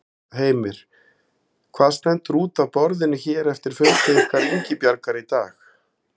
Heimir: Hvað stendur út af borðinu hér eftir fundi ykkar Ingibjargar í dag?